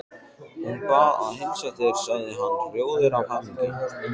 Hún bað að heilsa þér sagði hann rjóður af hamingju.